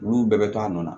Olu bɛɛ bɛ to a nɔ na